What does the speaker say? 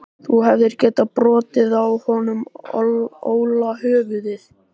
Þú hefðir getað brotið á honum Óla höfuðið.